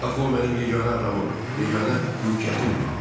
Axı o mənim yeganə adamım, yeganə mülkiyyətimdir.